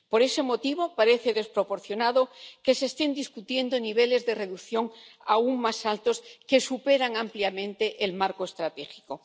Por ese motivo, parece desproporcionado que se estén debatiendo niveles de reducción aún más altos que superan ampliamente el marco estratégico.